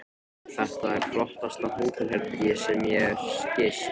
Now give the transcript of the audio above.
Þetta er flottasta hótelherbergi sem ég hef gist.